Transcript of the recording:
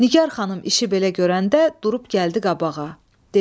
Nigar xanım işi belə görəndə durub gəldi qabağa, dedi: